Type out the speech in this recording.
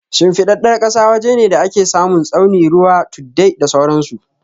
Shimfiɗaɗɗar ƙasa waje ne da ake samun tsauni, ruwa, tuddai, da sauran su.